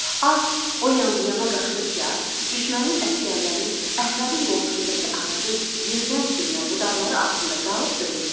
At o yan-bu yana qaçdıqca, düşmənin əsgərləri Əhmədin qoltuğundakı ağacın yerdən sürünən budaqları altında qalıb ölürdülər.